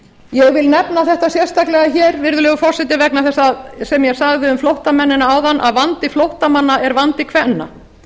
ég vil nefna þetta sérstaklega hér virðulegur forseti sem ég sagði um flóttamennina áðan vegna þess að flóttamanna er vandi kvenna